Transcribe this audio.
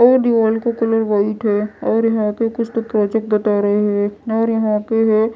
और दिवाल का कलर व्हाईट है और यहां पे कुछ तो प्रोजेक्ट बता रहे हैं और यहां पे है --